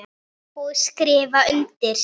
Og skrifa undir.